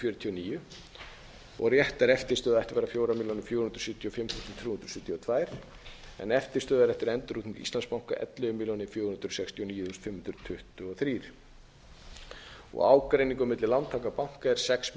fjörutíu og níu réttar eftirstöðvar ættu að vera fjórar milljónir fjögur hundruð sjötíu og fimm þúsund þrjú hundruð sjötíu og tvær en eftirstöðvar eftir endurútreikning íslandsbanka ellefu milljónir fjögur hundruð sextíu og níu fimm hundruð tuttugu og þrjár ágreiningur milli lántaka og banka er sex milljónir níu hundruð níutíu og